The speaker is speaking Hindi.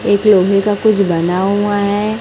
एक लोहे का कुछ बना हुआ है।